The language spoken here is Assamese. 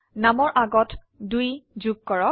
নামৰ আগত 2 যোগ কৰক